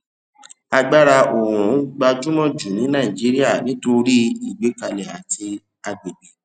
agbára oòrùn gbajúmọ jù ní nàìjíríà nítorí ìgbékalẹ àti agbègbè